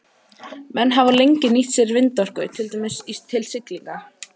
Menn hafa lengi nýtt sér vindorku, til dæmis til siglinga.